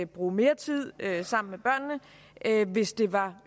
bruge mere tid sammen med børnene hvis det var